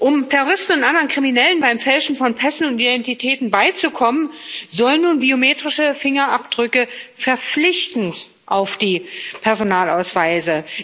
Um Terroristen und anderen Kriminellen beim Fälschen von Pässen und Identitäten beizukommen, sollen nun biometrische Fingerabdrücke verpflichtend auf die Personalausweise